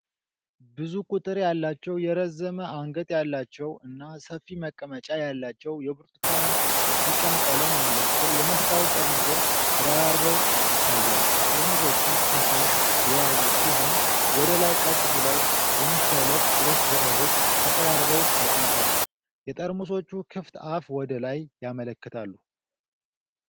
ብዙ ቁጥር ያላቸው የረዘመ አንገት ያላቸው እና ሰፊ መቀመጫ ያላቸው የብርቱካን ቢጫ ቀለም ያላቸው የመስታወት ጠርሙሶች ተደራርበው ይታያሉ። ጠርሙሶቹ ፈሳሽ የያዙ ሲሆን፤ ወደ ላይ ቀጥ ብለው በመሰለፍ እርስ በእርስ ተቀራርበው ተቀምጠዋል። የጠርሙሶቹ ክፍት አፍ ወደ ላይ ያመላክታሉ።